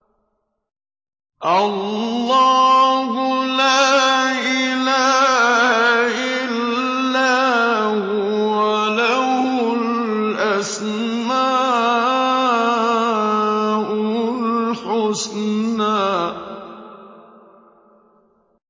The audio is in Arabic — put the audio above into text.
اللَّهُ لَا إِلَٰهَ إِلَّا هُوَ ۖ لَهُ الْأَسْمَاءُ الْحُسْنَىٰ